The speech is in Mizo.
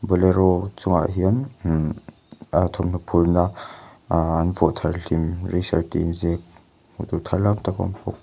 bolero chungah hian um a thawmhnaw phurhna ahh an vuah thar hlim resar tih inziak hmuh tûr tharlam tak a awm bawk.